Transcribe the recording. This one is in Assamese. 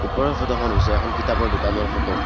ওপৰৰ ফটোখন হৈছে এখন কিতাপৰ দোকানৰ ফটো ।